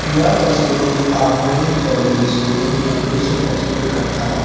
यह तस्वीर एक आधुनिक ज्वेलरी शोरूम का दृश्य प्रस्तुत करता है।